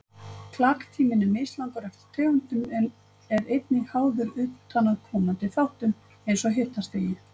Klaktíminn er mislangur eftir tegundum en er einnig háður utanaðkomandi þáttum eins og hitastigi.